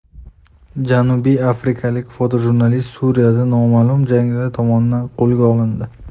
Janubiy afrikalik fotojurnalist Suriyada noma’lum jangarilar tomonidan qo‘lga olindi.